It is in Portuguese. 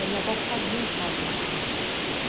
E a minha avó fazia em casa o macarrão.